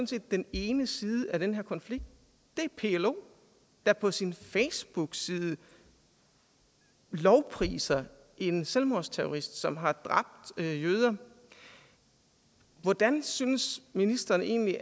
set den ene side af den her konflikt det er plo der på sin facebookside lovpriser en selvmordsterrorist som har dræbt jøder hvordan synes ministeren egentlig